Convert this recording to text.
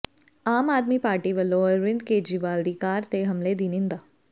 ਆਮ Aadmi Party ਵਲੋਂ ਅਰਵਿੰਦ ਕੇਜਰੀਵਾਲ ਦੀ car ਤੇ ਹਮਲੇ ਦੀ ਨਿੰਦਿਆ